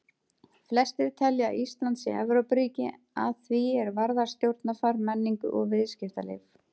Flestir telja að Ísland sé Evrópuríki að því er varðar stjórnarfar, menningu og viðskiptalíf.